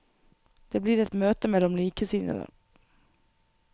Det blir et møte mellom likesinnede.